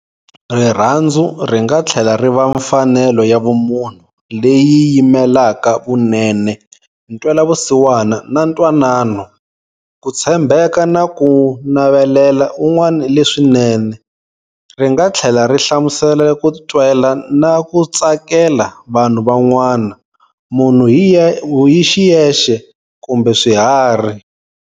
Rirhandzu ringa thlela riva mfanelo ya vumunhu leyi yimelaka vunene, ntwelavusiwana, na ntwanano-"Kutshembeka na kunavelela un'wana leswinene". Ringathlela ri hlamusela kutwela na kutsakela vanhu van'wana, munhu hixiyexe kumbe swiharhi.